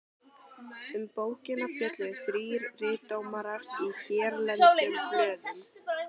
Um bókina fjölluðu þrír ritdómarar í hérlendum blöðum.